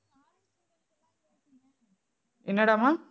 என்னடாமா